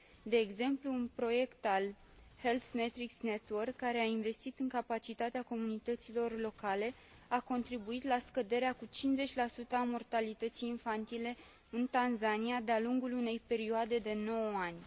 De exemplu, un proiect al Health Matrix Network, care a investit în capacitatea comunităților locale, a contribuit cu scăderea cu 50 a mortalității infantile în Tanzania de a lungul unei perioade de 9 ani.